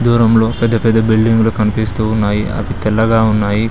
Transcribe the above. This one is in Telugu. దూరంలో పెద్ద పెద్ద బిల్డింగ్లు కనిపిస్తూ ఉన్నాయి అవి తెల్లగా ఉన్నాయి.